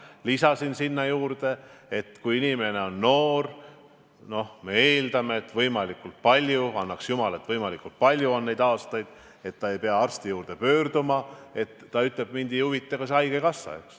Ja lisasin sinna juurde, et kui inimene on noor – ja annaks jumal, et võimalikult palju on neid aastaid, mil ta ei pea arsti poole pöörduma –, siis ta ehk ütleb, et mind ei huvita ka haigekassa.